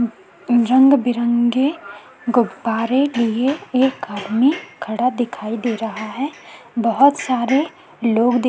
अम रंग-बिरंगे गुब्बारे लिए एक आदमी खड़ा दिखाई दे रहा है बहोत सारे लोग दिख--